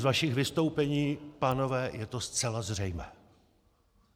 Z vašich vystoupení, pánové, je to zcela zřejmé.